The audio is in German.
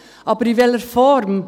Aber in welcher Form?